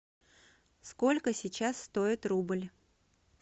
сколько сейчас стоит рубль